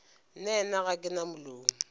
nnaena ga ke na molomo